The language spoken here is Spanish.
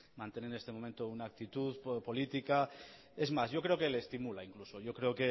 mantener en este momento una actitud política es más yo creo que le estimula incluso yo creo